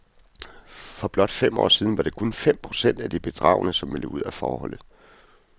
For blot fem år siden var det kun fem procent af de bedragne, som ville ud af forholdet.